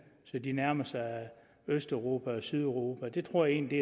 så de nærmer sig østeuropa og sydeuropa jeg tror egentlig